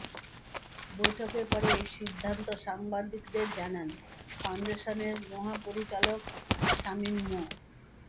বৈঠকের পরে এ সিদ্ধান্ত সাংবাদিকদের জানান ফাউন্ডেশনের মহাপরিচালক সামিম মো